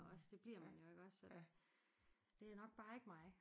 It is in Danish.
Også det bliver man jo iggås så det er nok bare ikke mig